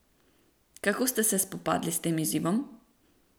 Kako ste se spopadli s tem izzivom?